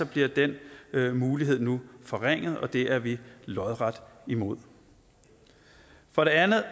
bliver den mulighed nu forringet og det er vi lodret imod for det andet